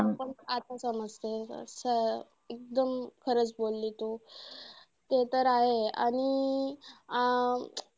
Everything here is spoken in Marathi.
आता समजतंय एकदम खरंच बोल्ली तू. ते तर आहे आणि अं